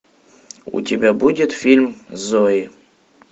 у тебя будет фильм зои